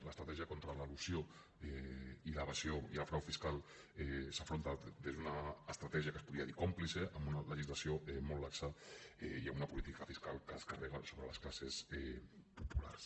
l’estratègia contra l’elusió i l’evasió i el frau fiscal s’afronta des d’una estratègia que se’n podria dir còmplice amb una legislació molt laxa i amb una política fiscal que es carrega sobre les classes populars